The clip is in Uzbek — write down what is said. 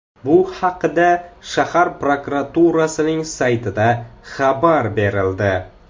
Bu haqda shahar prokuraturasining saytida xabar berildi .